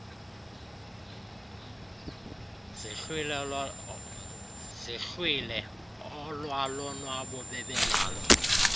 zihlwile olwalonwabo bebenalo